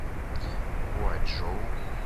хуачжоу